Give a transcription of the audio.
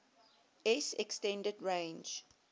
s extended range